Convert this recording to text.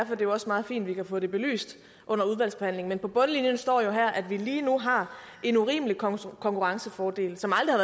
jo også meget fint at vi kan få det belyst under udvalgsbehandlingen men på bundlinjen står der at vi lige nu har en urimelig konkurrencefordel som aldrig